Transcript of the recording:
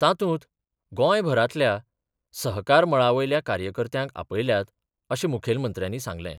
तातूंत गोंयभरांतल्या सहकार मळा वयल्या कार्यकर्त्यांक आपयल्यात अशें मुखेलमंत्र्यांनी सांगलें.